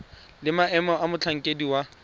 le maemo a motlhankedi wa